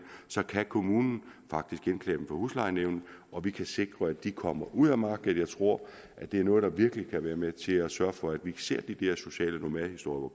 kan kommunen faktisk indklage dem for huslejenævnet og vi kan sikre at de kommer ud af markedet jeg tror at det er noget der virkelig kan være med til at sørge for at ikke ser de der sociale nomadehistorier